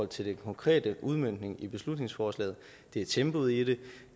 til den konkrete udmøntning i beslutningsforslaget er tempoet i